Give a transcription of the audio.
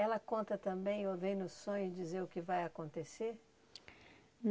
Ela conta também ou vem no sonho dizer o que vai acontecer?